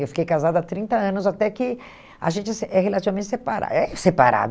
Eu fiquei casada há trinta anos, até que a gente se é relativamente separa é separado.